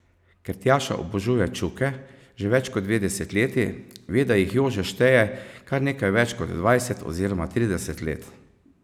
Ker Tjaša obožuje Čuke že več kot dve desetletji, ve, da jih Jože šteje kar nekaj več kot dvajset oziroma trideset let.